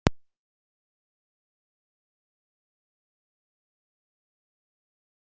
Elísabet Inga Sigurðardóttir: Hvaða upplýsingar hefurðu um umferðina?